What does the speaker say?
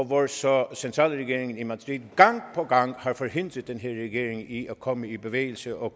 hvor så centralregeringen i madrid gang på gang har forhindret den her regering i at komme i bevægelse og